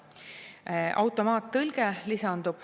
Lisandub automaattõlge.